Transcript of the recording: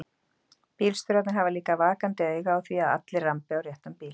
Bílstjórarnir hafa líka vakandi auga á því að allir rambi á réttan bíl.